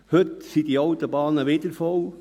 Heute sind die Autobahnen wieder voll;